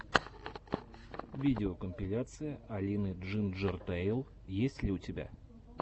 видеокомпиляция алины джинджертэйл есть ли у тебя